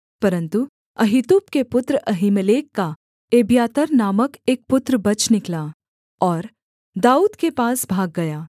परन्तु अहीतूब के पुत्र अहीमेलेक का एब्यातार नामक एक पुत्र बच निकला और दाऊद के पास भाग गया